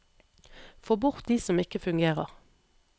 Få bort de som ikke fungerer.